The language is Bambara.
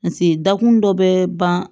dakun dɔ bɛ ban